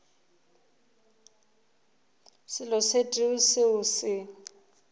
selo se tee seo se